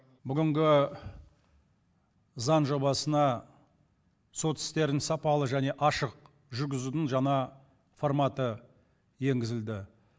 бүгінгі заң жобасына сот істерін сапалы және ашық жүргізудің жаңа форматы енгізілді